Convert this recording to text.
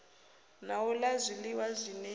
na u la zwiliwa zwine